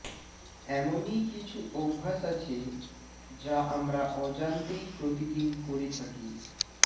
এমনই কিছু অভ্যাস আছে যা আমরা অজান্তেই প্রতিদিন করে থাকি